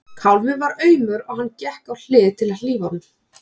Kálfinn var aumur og hann gekk á hlið til að hlífa honum.